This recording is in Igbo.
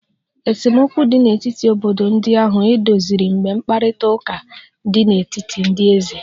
Esemokwu dị n'etiti obodo ndị ahụ edoziri mgbe mkparịta ụka dị n'etiti ndị eze